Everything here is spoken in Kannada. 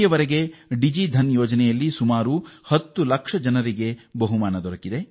ಈವರೆಗೆ ಡಿಜಿಧನ್ ಯೋಜನೆಯಡಿ 10 ಲಕ್ಷ ಜನರು ಬಹುಮಾನ ಪಡೆದಿದ್ದಾರೆ